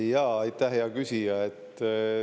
Jaa, aitäh hea küsija!